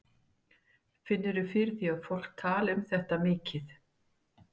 Finnurðu fyrir því að fólk tali um þetta mikið?